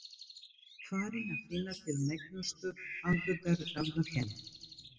Farinn að finna til megnustu andúðar gagnvart henni.